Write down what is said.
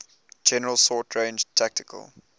general short range tactical